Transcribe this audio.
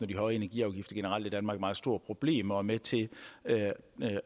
de høje energiafgifter generelt er et meget stort problem og at med til